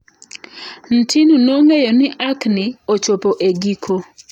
Ntinu nong'eyo ni achni ochopo e giko.